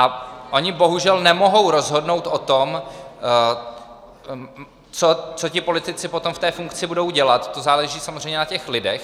A oni bohužel nemohou rozhodnout o tom, co ti politici potom v té funkci budou dělat, to záleží samozřejmě na těch lidech.